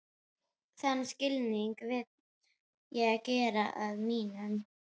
Þann skilning vil ég gera að mínum.